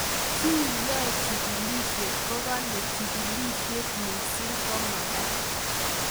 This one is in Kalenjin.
Che yae chigilset kokale chigilsyet missing komagat.